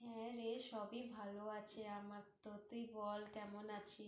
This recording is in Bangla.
হ্যাঁরে সবই ভালো আছে আমার তো তুই বল কেমন আছিস?